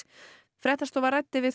fréttastofa ræddi við